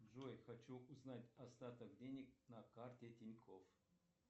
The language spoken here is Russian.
джой хочу узнать остаток денег на карте тинькофф